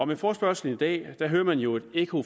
med forespørgslen i dag hører man jo et ekko